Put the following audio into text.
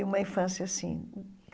E uma infância assim.